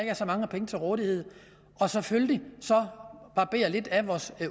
er så mange penge til rådighed og selvfølgelig barberer lidt af vores